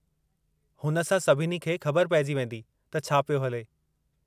हुन सां सभिनी खे ख़बर पेइजी वेंदी त छा पियो हले।